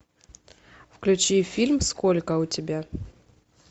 включи фильм сколько у тебя